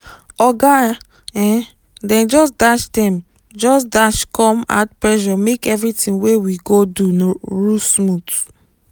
oga um dem just dash dem just dash come add pressure make everything wey we go do ru smooth